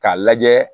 K'a lajɛ